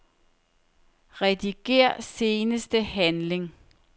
Rediger seneste handling.